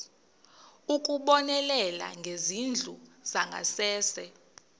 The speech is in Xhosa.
ukubonelela ngezindlu zangasese